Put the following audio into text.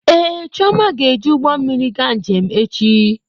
Ee, Chioma ga-eji ụgbọ mmiri gaa njem echi.